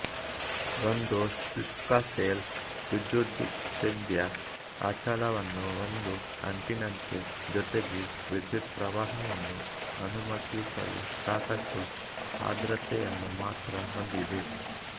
ಒಂದು ಶುಷ್ಕ ಸೆಲ್ ವಿದ್ಯುದ್ವಿಚ್ಛೇದ್ಯ ಅಚಲವನ್ನು ಒಂದು ಅಂಟಿನಂತೆ ಜೊತೆಗೆ ವಿದ್ಯುತ್ ಪ್ರವಾಹವನ್ನು ಅನುಮತಿಸಲು ಸಾಕಷ್ಟು ಆರ್ದ್ರತೆಯನ್ನು ಮಾತ್ರ ಹೊಂದಿದೆ